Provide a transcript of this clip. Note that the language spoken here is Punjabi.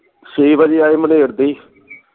ਛੇ ਵਜੇ ਆਏ ਦੀ